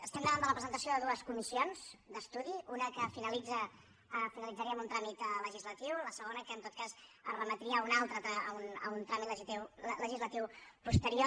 estem davant de la presentació de dues comissions d’estudi una que finalitzaria amb un tràmit legislatiu la segona que en tot cas es remetria a un altre tràmit a un tràmit legislatiu posterior